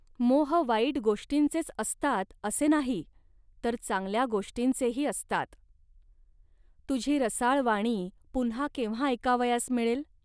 मोह वाईट गोष्टींचेच असतात, असे नाही, तर चांगल्या गोष्टींचेही असतात. तुझी रसाळ वाणी पुन्हा केव्हा ऐकावयास मिळेल